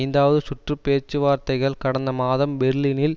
ஐந்தாவது சுற்று பேச்சுவார்த்தைகள் கடந்த மாதம் பெர்லினில்